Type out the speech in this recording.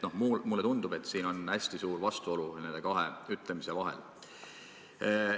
Mulle tundub, et nende kahe ütlemise vahel on hästi suur vastuolu.